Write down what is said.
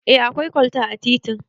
Eh akwai kwalta a titin